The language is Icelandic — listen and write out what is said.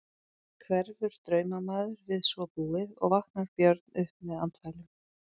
Hverfur draumamaður við svo búið og vaknar Björn upp með andfælum.